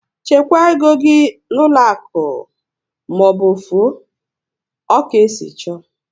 Chekwaa égo gị n'ụlọ akụ maọbụ ofu o! Ọ ka esi chọọ